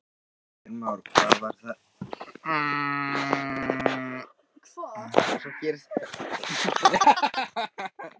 Og nú sést náttúrlega ekki neitt.